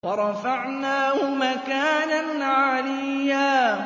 وَرَفَعْنَاهُ مَكَانًا عَلِيًّا